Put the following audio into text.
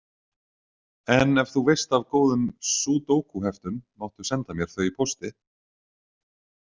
En ef þú veist af góðum súdókuheftum, máttu senda mér þau í pósti.